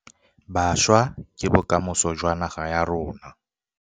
Bašwa ke bokamoso jwa naga ya rona